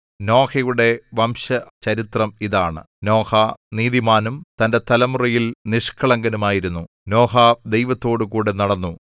നോഹയുടെ വംശചരിത്രം ഇതാണ് നോഹ നീതിമാനും തന്റെ തലമുറയിൽ നിഷ്കളങ്കനുമായിരുന്നു നോഹ ദൈവത്തോടുകൂടെ നടന്നു